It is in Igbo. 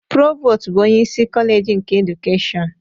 Provostu bụ onyeisi Koleji nke Edukeshọn.